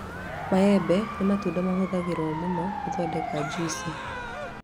Maembe nĩ matunda mahũthagĩrwo mũno gũthondeka njuici